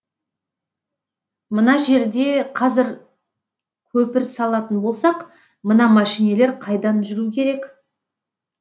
мына жерде кәзір көпір салатын болсақ мына мәшинелер қайдан жүру керек